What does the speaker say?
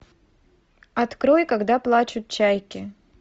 открой когда плачут чайки